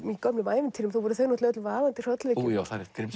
gömlum ævintýrum þá voru þau öll vaðandi í hrollvekju ó já þá er rétt